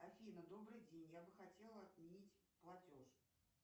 афина добрый день я бы хотела отменить платеж